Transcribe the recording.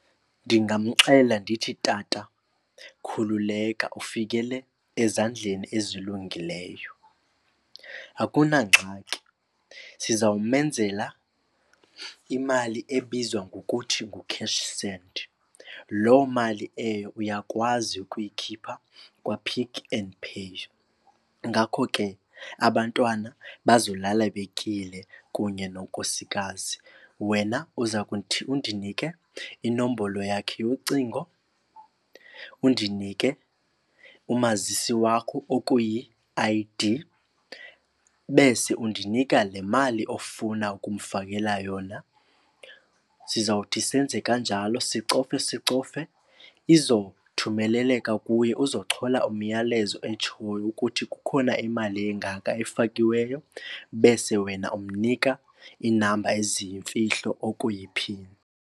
Ndingamxelela ndithi, tata khululeka, ufikele ezandleni ezilungileyo. Akunangxaki sizawumenzela imali ebizwa ngokuthi ngu-cash send. Loo mali eyo uyakwazi ukuyikhipha kwaPick and Pay ngakho ke abantwana bazolala betyile kunye nonkosikazi. Wena uza kuthi undinike inombolo yakhe yocingo undinike umazisi wakho okuyi-I_D bese undinika le mali ofuna ukumfakela yona. Sizawuthi senze kanjalo sicofe sicofe izothumeleleka kuye, uzochola umyalezo otshoyo ukuthi kukhona imali engaka efakiweyo bese wena umnika inamba eziyimfihlo okuyiphini.